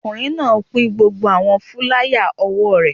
Ọkùnrin náà pín gbogbo àwọn fúláyà òwò rẹ̀